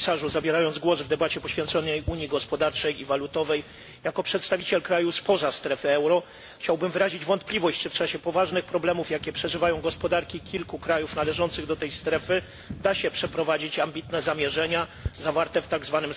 Zabierając głos w debacie poświęconej unii gospodarczej i walutowej, jako przedstawiciel kraju spoza strefy euro chciałbym wyrazić wątpliwość, czy w czasie poważnych problemów, jakie przeżywają gospodarki kilku krajów należących do tej strefy, da się przeprowadzić ambitne zamierzenia zawarte w tzw.